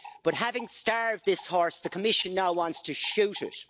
But having starved this horse, the Commission now wants to shoot it.